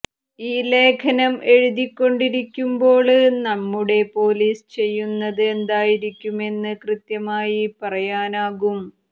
ഈ ലേഖനം എഴുതിക്കൊണ്ടിരിക്കുമ്പോള് നമ്മുടെ പോലീസ് ചെയ്യുന്നത് എന്തായിരിക്കുമെന്ന് കൃത്യമായി പറയാനാകും